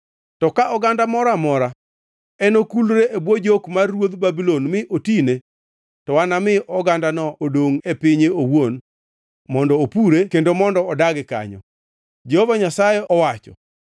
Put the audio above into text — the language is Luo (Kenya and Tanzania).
To ka oganda moro amora enokulre e bwo jok mar ruodh Babulon mi otine, to anami ogandano odongʼ e pinye owuon mondo opure kendo mondo odagi kanyo, Jehova Nyasaye owacho.” ’”